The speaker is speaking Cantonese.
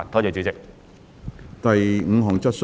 第五項質詢。